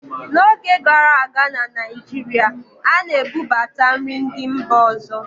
n'oge gara aga na Naijiria, a na-ebubata nri ndị mba ọzọ